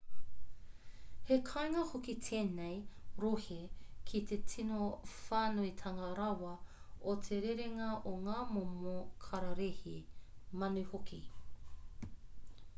he kāinga hoki tēnei rohe ki te tino whānuitanga rawa o te rerenga o ngā momo kararehe manu hoki